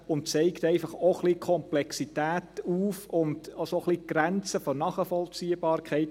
Dies zeigt einfach auch ein wenig die Komplexität auf und auch ein bisschen die Grenzen der Nachvollziehbarkeit.